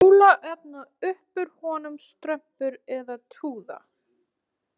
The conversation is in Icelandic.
Kolaofn og uppúr honum strompur, eða túða.